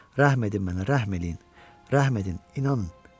Rəhm edin mənə, rəhm eləyin, rəhm edin, inanın.